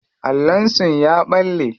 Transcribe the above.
Allon sun ya balle.